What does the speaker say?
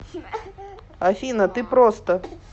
афина ты просто